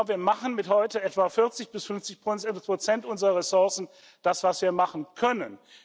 Wir machen mit heute etwa 40 bis 50 Prozent unserer Ressourcen das, was wir machen können.